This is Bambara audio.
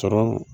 Sɔrɔ